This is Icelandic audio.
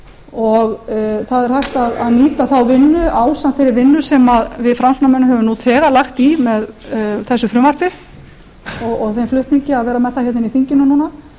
og það er hægt að nýta þá vinnu ásamt þeirri vinnu sem við framsóknarmenn höfum nú þegar lagt í með þessu frumvarpi og þeim flutningi að vera með það í þinginu núna